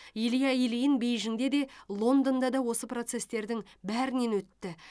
илья ильин бейжіңде де лондонда да осы процесстердің бәрінен өтті